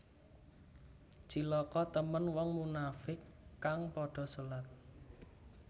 Cilaka temen wong munafiq kang padha solat